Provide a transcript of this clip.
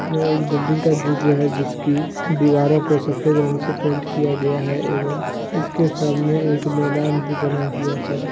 यह एक बिल्डिंग का दृश्य है जिसकी दीवारों को सफेद रंग से पेंट किया गया है एवं इसके सामने एक मैदान भी बना हुआ है।